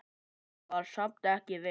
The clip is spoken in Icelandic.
Var samt ekki viss.